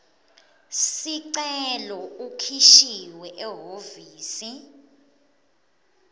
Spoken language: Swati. sicelo ukhishiwe ehhovisi